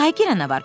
Taylerə nə var?